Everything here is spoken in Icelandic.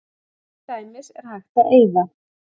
Til dæmis er hægt að eyða